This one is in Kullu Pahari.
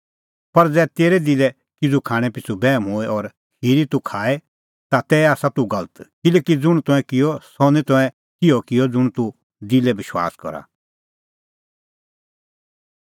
पर ज़ै तेरै दिलै किज़ू खाणैं पिछ़ू बैहम होए और खिरी तूह खाए तै आसा तूह गलत किल्हैकि ज़ुंण तंऐं किअ सह निं तंऐं तिहअ किअ ज़ुंण तूह दिलै विश्वास करा